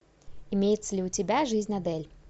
имеется ли у тебя жизнь адель